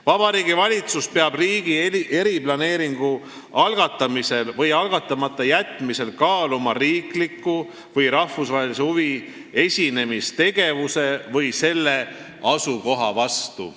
Vabariigi Valitsus peab riigi eriplaneeringu algatamisel või algatamata jätmisel kaaluma riikliku või rahvusvahelise huvi esinemist tegevuse või selle asukoha vastu.